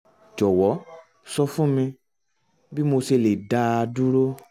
jọ̀wọ́ sọ fún mi bí mo ṣe lè dá a dúró